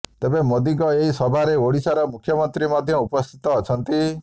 ତେବେ ମୋଦିଙ୍କ ଏହି ସଭାରେ ଓଡିଶାର ମୁଖ୍ୟମନ୍ତ୍ରୀ ମଧ୍ୟ ଉପସ୍ଥିତ ଅଛନ୍ତି